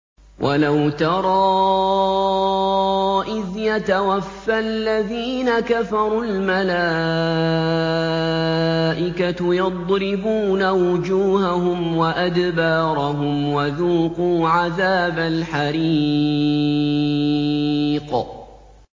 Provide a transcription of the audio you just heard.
وَلَوْ تَرَىٰ إِذْ يَتَوَفَّى الَّذِينَ كَفَرُوا ۙ الْمَلَائِكَةُ يَضْرِبُونَ وُجُوهَهُمْ وَأَدْبَارَهُمْ وَذُوقُوا عَذَابَ الْحَرِيقِ